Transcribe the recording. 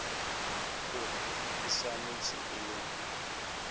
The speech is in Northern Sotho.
gore e swanetše e le